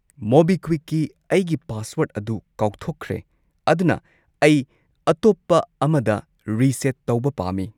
ꯃꯣꯕꯤꯀ꯭ꯋꯤꯛꯀꯤ ꯑꯩꯒꯤ ꯄꯥꯁꯋꯔꯗ ꯑꯗꯨ ꯀꯥꯎꯊꯣꯛꯈ꯭ꯔꯦ, ꯑꯗꯨꯅ ꯑꯩ ꯑꯇꯣꯞꯄ ꯑꯃꯗ ꯔꯤꯁꯦꯠ ꯇꯧꯕ ꯄꯥꯝꯃꯤ꯫